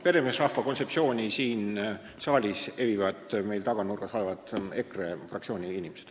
Peremeesrahva kontseptsiooni evivad siin saali taganurgas olevad EKRE fraktsiooni inimesed.